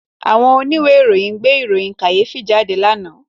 Àwọn oníwèé ìròyìn gbé ìròyìn kàyéfì jáde lánàá